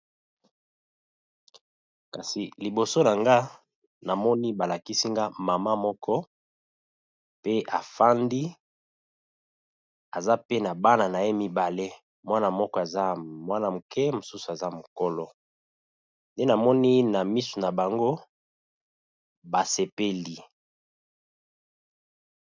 Kasi liboso na nga na moni ba lakisi nga mama moko pe a fandi, aza pe na bana na ye mibale . Mwana moko aza mwana muke, mosusu aza mukolo nde namoni na misu na bango, ba sepeli .